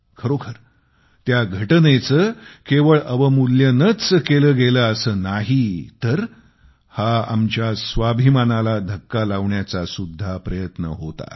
खरोखर त्या घटनेचे केवळ अवमूल्यनच केले गेले असे नाही तर हा आमच्या स्वाभिमानाला धक्का लावण्याचासुद्धा हा प्रयत्न होता